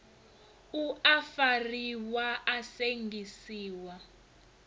u a fariwa a sengisiwa